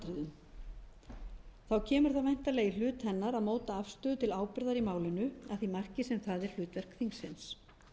atriðum þá kemur það væntanlega í hlut hennar að móta afstöðu til ábyrgðar í málinu að því marki sem það er hlutverk þingsins